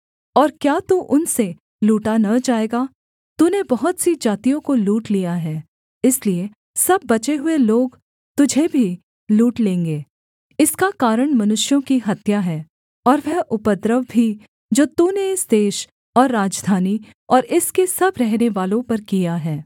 और क्या तू उनसे लूटा न जाएगा तूने बहुत सी जातियों को लूट लिया है इसलिए सब बचे हुए लोग तुझे भी लूट लेंगे इसका कारण मनुष्यों की हत्या है और वह उपद्रव भी जो तूने इस देश और राजधानी और इसके सब रहनेवालों पर किया है